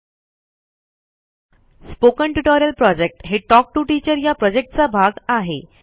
spoken tutorial project हे talk to teacher या प्रॉजेक्टचा भाग आहे